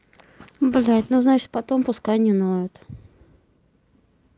блядь ну значит потом пускай не ноет